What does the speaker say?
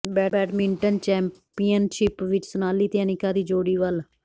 badminton championship ਵਿੱਚ ਸੋਨਾਲੀ ਤੇ ਅਨਿਕਾ ਦੀ ਜੋੜੀ ਅੱਵਲ